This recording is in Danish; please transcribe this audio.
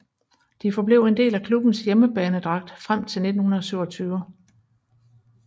De forblev en del af klubbens hjemmebanedragt frem til 1927